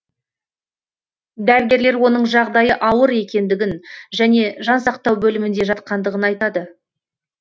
дәрігерлер оның жағдайы ауыр екендігін және жансақтау бөлімінде жатқандығын айтады